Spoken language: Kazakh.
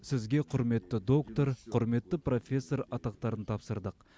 сізге құрметті доктор құрметті профессор атақтарын тапсырдық